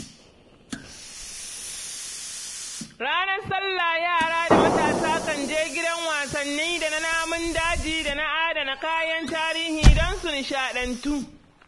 Ranar salla yara da matasa kan je gidan wasanni da na namun daji da na adana kayan tarihi don su nishaɗantu.